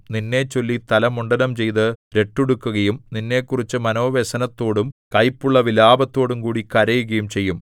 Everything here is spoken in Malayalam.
നിന്നെച്ചൊല്ലി തല മുണ്ഡനം ചെയ്ത് രട്ടുടുക്കുകയും നിന്നെക്കുറിച്ച് മനോവ്യസനത്തോടും കൈപ്പുള്ള വിലാപത്തോടുംകൂടി കരയുകയും ചെയ്യും